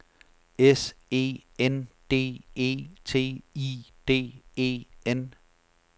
S E N D E T I D E N